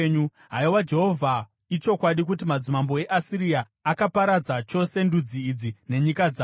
“Haiwa Jehovha, ichokwadi kuti madzimambo eAsiria akaparadza chose ndudzi idzi nenyika dzavo.